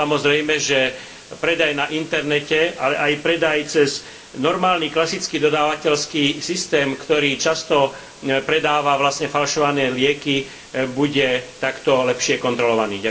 Samozrejme, že predaj na internete, ale aj predaj cez normálny klasický dodávateľský systém, ktorý často predáva vlastne falšované lieky, bude takto lepšie kontrolovaný.